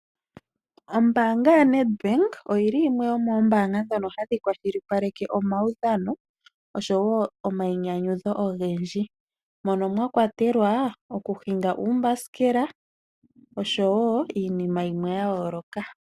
Ombaanga yaNedbank oyi li yimwe yoomoombanga ndhono hadhi kwashilipaleke omaudhano, noshowo omainyanyudho ogendji, mono mwa kwatelwa okuhinga uumbasikela, oshowo iinima yimwe ya yooloka.